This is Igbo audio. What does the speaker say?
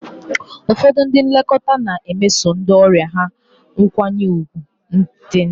Ụfọdụ ndị nlekọta na-emeso ndị ọrịa ha nkwanye ùgwù dị nta.